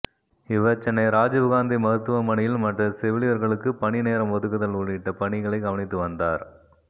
இவர் சென்னை ராஜீவ்காந்தி மருத்துவமனையில் மற்ற செவிலியர்களுக்கு பணி நேரம் ஒதுக்குதல் உள்ளிட்ட பணிகளை கவனித்து வந்தார்